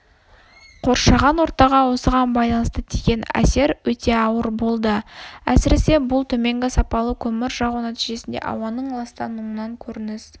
қоршаған ортаға осыған байланысты тиген әсер өте ауыр болды әсіресе бұл төменгі сапалы көмір жағу нәтижесінде ауаның ластануынан көрініс